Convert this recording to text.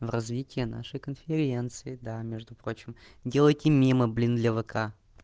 развитие нашей конференции да между прочим делайте мимо блин евка